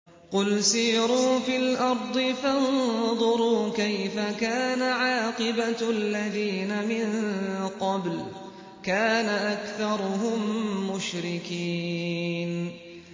قُلْ سِيرُوا فِي الْأَرْضِ فَانظُرُوا كَيْفَ كَانَ عَاقِبَةُ الَّذِينَ مِن قَبْلُ ۚ كَانَ أَكْثَرُهُم مُّشْرِكِينَ